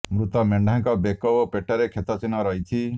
ମୃତ ମେଣ୍ଢାଙ୍କ ବେକ ଓ ପେଟରେ କ୍ଷତ ଚିହ୍ନ ରହିଛି